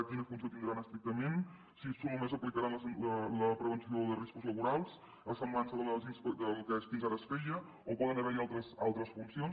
quina funció tindran estrictament si només aplicaran la prevenció de riscos laborals a semblança del que fins ara es feia o poden haver hi altres funcions